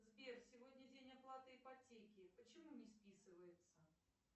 сбер сегодня день оплаты ипотеки почему не списывается